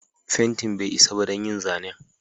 Fentin bai isa ba don yin zanen.